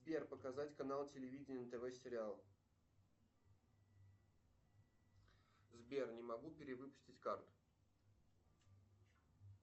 сбер показать канал телевидения тв сериал сбер не могу перевыпустить карту